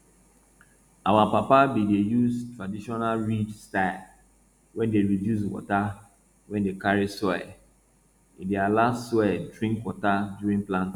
our papa bin dey use traditional ridge style wey dey reduce water wey dey carry soil e dey allow soil drink water during planting